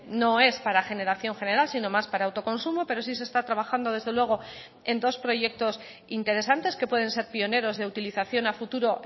no es para generación general sino más para autoconsumo pero sí se está trabajando desde luego en dos proyectos interesantes que pueden ser pioneros de utilización a futuro